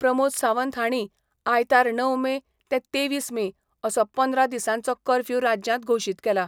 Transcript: प्रमोद सावंत हाणी आयतार णव मे ते तेवीस मे असो पंदरा दिसांचो कर्फ्यू राज्यांत घोशित केला.